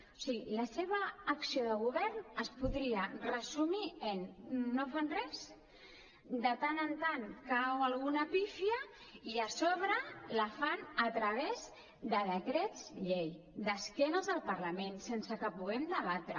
o sigui la seva acció de govern es podria resumir en no fan res de tant en tant cau alguna pífia i a sobre la fan a través de decrets llei d’esquena al parlament sense que puguem debatre